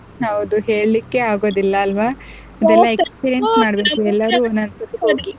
ಹೌದು ಹೇಳಿಕ್ಕೆ ಆಗೋದಿಲ್ಲ ಅಲ್ವಾ ಇದೆಲ್ಲ